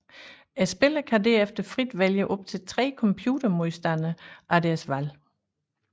Spilleren kan derefter frit vælge op til tre computer modstandere af deres valg